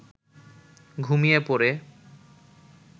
ঘুমিয়ে পড়ে